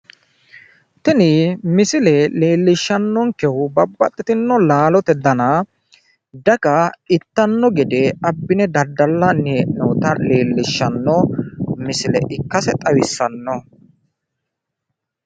tini misile leellishannonkehu babbaxitino laalote dana daga ittanno gede abbine daddallanni hee'noonita leellishshanno misile ikkase xawissanno.